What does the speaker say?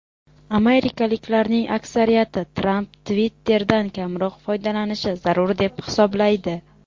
Amerikaliklarning aksariyati Tramp Twitter’dan kamroq foydalanishi zarur deb hisoblaydi.